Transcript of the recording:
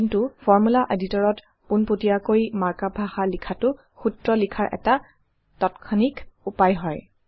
কিন্তু formula Editor ত পোনপটীয়াকৈ মাৰ্ক আপ ভাষা লিখাটো সূত্ৰ লিখাৰ এটা তাত্ক্ষণিক উপায় হয়